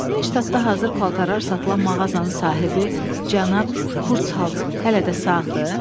Neyştatda hazır paltarlar satılan mağazanın sahibi cənab Kurts Halts hələ də sağdır?